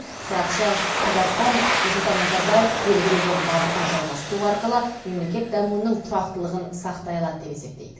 сарапшы қазақстан нұрсұлтан назарбаев белгілеген бағытын жалғастыру арқылы мемлекет дамуының тұрақтылығын сақтай алады деп есептейді